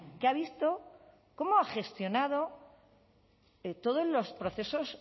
que ha visto cómo ha gestionado todos los procesos